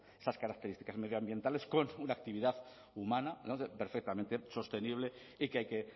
esas características medioambientales con una actividad humana perfectamente sostenible y que hay que